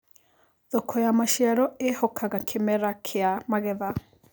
Thoko ya macĩaro ĩhokaga kĩmera kĩa magetha